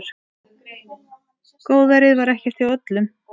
Góðærið var ekkert hjá öllum.